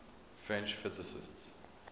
french physicists